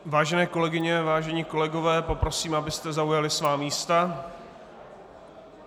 Vážené kolegyně, vážení kolegové, poprosím, abyste zaujali svá místa.